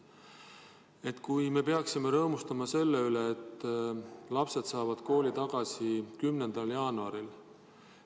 Me nagu peaksime rõõmustama selle üle, et lapsed saavad kooli tagasi 11. jaanuaril.